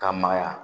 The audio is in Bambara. Ka magaya